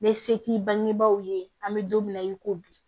N bɛ se k'i bangebaaw ye an bɛ don min na i ko bi